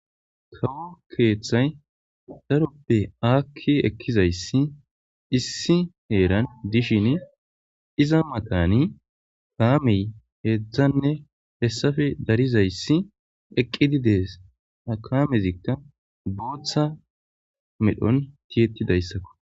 kawo keeththay daropbe aakki ekkizayssi issi heeran dishin iza matani kaamey heedzdzanne hessafe darizayssi eqqidi dees akaamezikka booththa medhon tiyetidayssakko